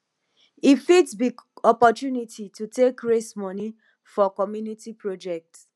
e fit be opportunity to take raise moni for community project